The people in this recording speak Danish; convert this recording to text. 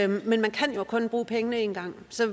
men man kan jo kun bruge pengene én gang så